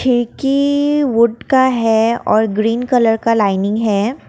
खिड़की वोटका है और ग्रीन कलर का लाइनिंग है।